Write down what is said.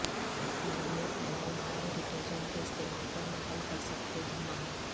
بیرونی پینل مائع ڈٹرجنٹ کے استعمال پر مائل کر سکتے دھونا